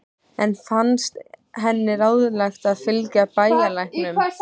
Enn fannst henni ráðlegast að fylgja bæjarlæknum.